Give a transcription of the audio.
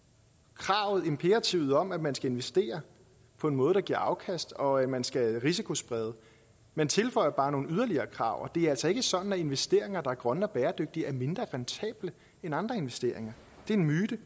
kravet imperativet om at man skal investere på en måde der giver afkast og at man skal risikosprede man tilføjer bare nogle yderligere krav og det er altså ikke sådan at investeringer der er grønne og bæredygtige er mindre rentable end andre investeringer det er en myte